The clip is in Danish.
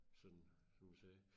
Sådan som du sagde